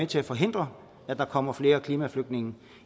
til at forhindre at der kommer flere klimaflygtninge